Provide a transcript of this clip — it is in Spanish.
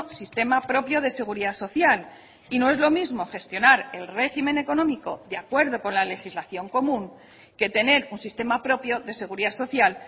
sistema propio de seguridad social y no es lo mismo gestionar el régimen económico de acuerdo con la legislación común que tener un sistema propio de seguridad social